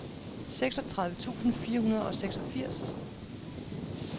seksogtredive tusind fire hundrede og seksogfirs